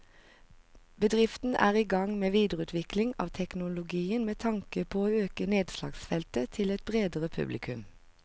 Bedriften er i gang med videreutvikling av teknologien med tanke på å øke nedslagsfeltet til et bredere publikum.